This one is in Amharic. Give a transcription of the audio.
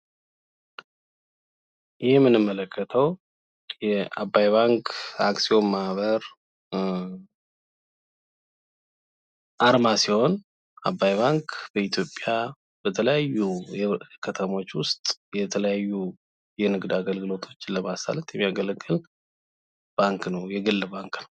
የምንመለከተው የአባይ ባንክ አክሲዮን አርማ ሲሆን አባይ ባንክ በኢትዮጵያ በተለያዩ ከተሞች ውስጥ የተለያዩ የንግድ አገልግሎቶችን ለማሳለጥ የሚጠቅም ባንክ ነው የግል ባንክ።